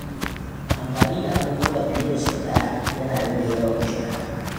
Amfani da abubuwa fiye da sau ɗaya yana rage yawan shara.